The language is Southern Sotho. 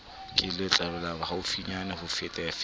ke letlaka haufinyane ho fetafeta